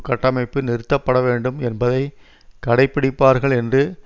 கட்டமைப்பு நிறுத்தப்பட வேண்டும் என்பதை கடைப்படிப்பார்கள் என்று